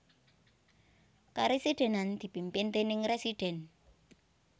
Karesidhenan dipimpin déning residen